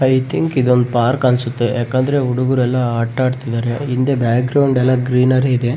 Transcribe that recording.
I think ಇದೊಂದು park ಅನ್ಸುತ್ತೆ ಯಾಕಂದ್ರೆ ಹುಡುಗ್ರೆಲ್ಲ ಆಟ ಆಡ್ತಿದಾರೆ ಹಿಂದೆ ಬ್ಯಾಗ್ ಗ್ರೌಂಡ್ ಎಲ್ಲ ಗ್ರೀನರಿ ಇದೆ .